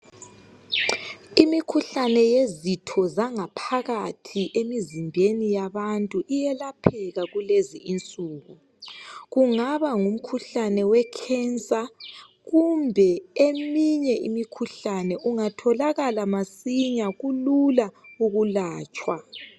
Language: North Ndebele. Imikhuhlane yezitho zangaphakathi emizimbeni yabantu iyelapheka kulezi insuku. Kungaba ngumkhuhlane wekhensa kumbe eminye imikhuhlane. Ungatholakala masinya kulula ukulatshwa.